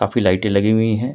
काफी लाइटें लगी हुई है।